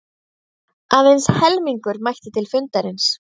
Aðeins helmingur mætti til fundarins